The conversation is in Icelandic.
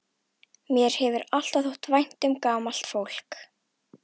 Mér hefur alltaf þótt vænt um gamalt fólk.